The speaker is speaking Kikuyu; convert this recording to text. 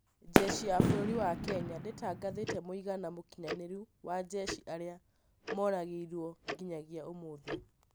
Njeshi ya bũrũri wa Kenya ndĩtangathĩte mũigana mũkinyanĩru wa njeshi arĩa moragirwo nginyagia ũmũthĩ